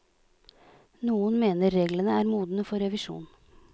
Noen mener reglene er modne for revisjon.